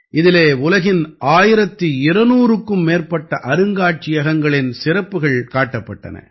இதிலே உலகின் 1200க்கும் மேற்பட்ட அருங்காட்சியகங்களின் சிறப்புகள் காட்டப்பட்டன